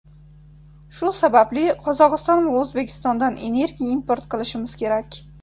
Shu sababli Qozog‘iston va O‘zbekistondan energiya import qilishimiz kerak.